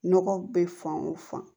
Nɔgɔ bɛ fan o fan